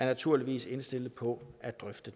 naturligvis indstillet på at drøfte